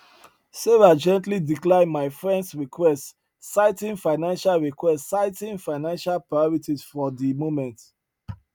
sarah gently declined am frens request citing financial request citing financial priorities for di moment